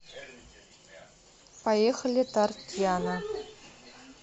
поехали тортьяна